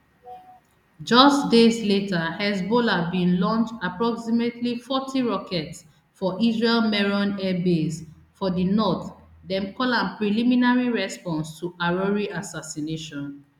just days later hezbollah bin launch approximately forty rockets for israel meron airbase for di north dem call am preliminary response to arouri assassination